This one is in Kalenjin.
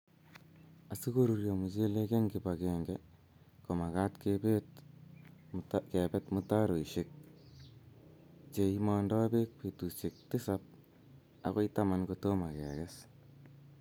Asikorurio mchelek eng kibagenge, ko makat kebet mtaroishek cheimondoi bek betusiek tisab agoi taman kotomo kekes